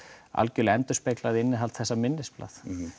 algerlega endurspeglað innihald þessa minnisblaðs